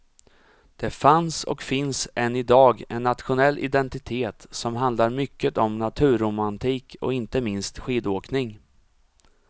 Det fanns och finns än idag en nationell identitet som handlar mycket om naturromantik och inte minst skidåkning.